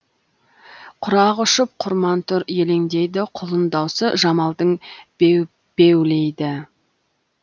құрақ ұшып құрман тұр елеңдейді құлын даусы жамалдың беубеулейді